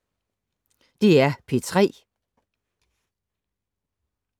DR P3